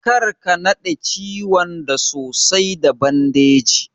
Karka naɗe ciwon da sosai da bandeji.